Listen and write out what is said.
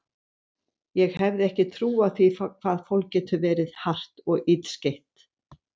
Ég hefði ekki trúað því hvað fólk getur verið hart og illskeytt.